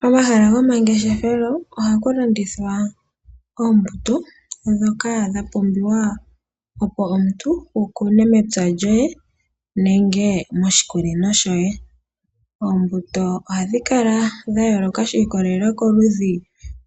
Pomahala gomangeshefelo ohaku landithwa oombuto ndhoka dha pumbiwa, opo omuntu wu kune mepya lyoye nenge moshikunino shoye. Oombuto ohadhi kala dha yooloka shi ikolelela koludhi